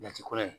Jate ko la